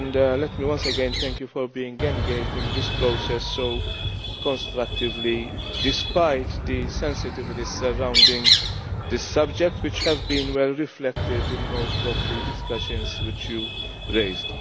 Let me once again thank you for being engaged in this process so constructively, despite the sensitivities surrounding the subject, which have been well reflected in most of the points which you raised.